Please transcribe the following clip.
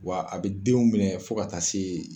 Wa a bɛ denw minɛ fo ka taa se